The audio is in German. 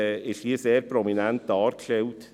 Die Abgrenzung ist dort sehr prominent dargestellt.